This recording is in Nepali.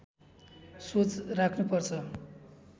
सोच राख्नु पर्छ